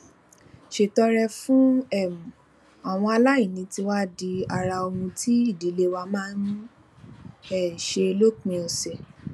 ṣètọrẹ fún um àwọn aláìní ti wá di ara ohun tí ìdílé wa máa ń um ṣe lópin òsè